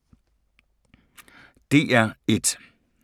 DR1